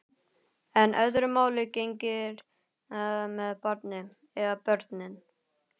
En öðru máli gegnir með barnið. eða börnin.